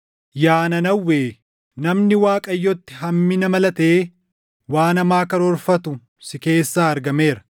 Yaa Nanawwee, namni Waaqayyotti hammina malatee waan hamaa karoorfatu si keessaa argameera.